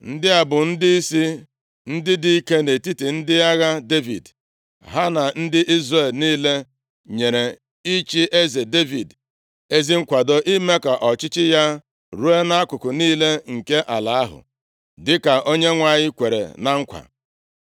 Ndị a bụ ndịisi ndị dike nʼetiti ndị agha Devid. Ha na ndị Izrel niile nyere ịchị eze Devid ezi nkwado ime ka ọchịchị ya ruo nʼakụkụ niile nke ala ahụ, dịka Onyenwe anyị kwere na nkwa.